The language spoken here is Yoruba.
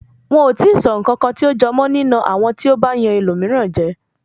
Wọn ò tíì sọ ǹkankan tí ó jọ nína àwọn tí ó bá yan ẹlòmíràn jẹ.